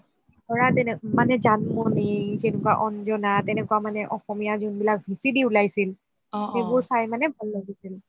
ধৰা জানমনি, যেনেকুৱা অন্জানা তেনেকুৱা অসমীয়া যোনবিলাক VCD উলাইছিল সেইবোৰ চাই মানে ভাল লাগিছিল